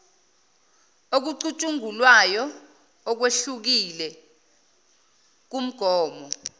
okucutshungulwayo okwehlukile kumgomo